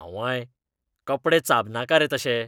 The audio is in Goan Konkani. आंवंय, कपडे चाबनाका रे तशे.